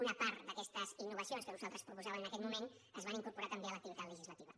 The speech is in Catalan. una part d’aquestes innovacions que nosaltres proposàvem en aquell moment es van incorporar també a l’activitat legislativa